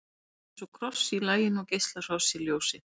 hann er eins og kross í laginu og geislar frá sér ljósi